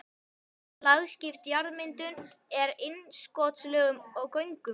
Lagskipt jarðmyndun með innskotslögum og göngum.